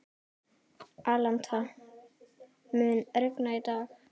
Alanta, mun rigna í dag?